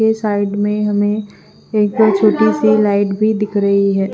ये साइड में हमे एक छोटी सी लाइट भी दिख रही है।